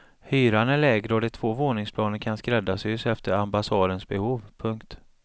Hyran är lägre och de två våningsplanen kan skräddarsys efter ambassadens behov. punkt